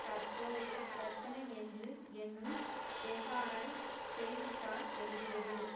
தற்போதைய பிரச்சினை என்று என்னும் தெஹரன் செய்தி தாள் எழுதியது